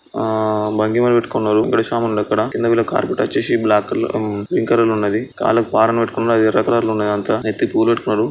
ఆ భంగిమలు పెట్టుకున్నారు అక్కడ కింద వచ్చేసి బ్లాక్ కలర్ పింక్ కలర్ లో ఉంది కాళ్లకు పారాణి పెట్టుకున్నారు అది ఎర్ర కలర్ లో ఉంది అంతా నెత్తికి పువ్వులు పెట్టుకున్నారు.